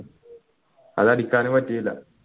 അത് അടിക്കാനും പറ്റില്ല